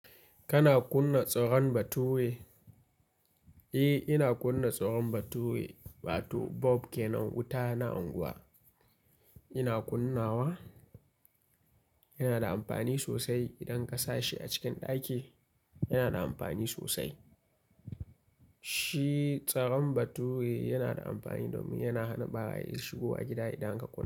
Kana kunna tsaron bature? Eh, ina kunna tsaron batuwi. Watu bob ke nan wuta na unguwa. Ina kunnawa. Yana da amfani sosai idan ka sashi a cikin ɗaki. Yana da amfani sosai. Shi tsaron bature yana da amfani domin yana hana ɓarayin shigowa gida idan aka ƙulla.